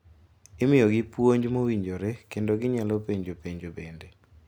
Imiyogi puonj mowinjore kendo ginyalo penjo penjo bende.